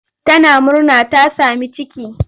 Tana murna ta sami ciki.